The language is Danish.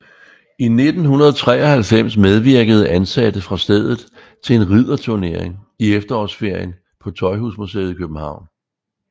I 1993 medvirkede ansatte fra stedet til en ridderturnering i efterårsferien på Tøjhusmuseet i København